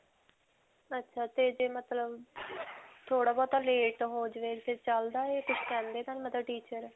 ਅੱਛਾ ਤੇ ਜੇ ਮਤਲਬ ਥੋੜਾ-ਬਹੁਤਾ late ਹੋ ਜਾਵੇ ਤੇ ਚਲਦਾ ਹੈ? ਕੁਝ ਕਹਿੰਦੇ ਤਾਂ ਨਹੀਂ ਮਤਲਬ teacher.